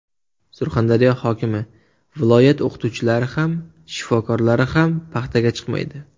Surxondaryo hokimi: Viloyat o‘qituvchilari ham, shifokorlari ham paxtaga chiqmaydi .